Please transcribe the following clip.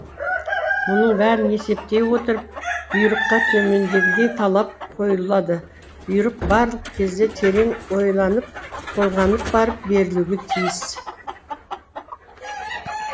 мұның бәрін есептей отырып бұйрыққа төмендегідей талап қойылады бұйрық барлық кезде терең ойланып толғанып барып берілуге тиіс